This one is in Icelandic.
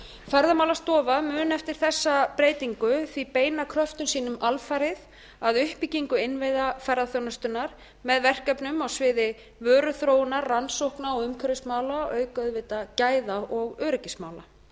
ferðamálastofa mun eftir þessa breytingu því beina kröftum sínum alfarið að uppbyggingu innviða ferðaþjónustunnar með verkefnum á sviði vöruþróunar umhverfismála auk auðvitað gæða og öryggismála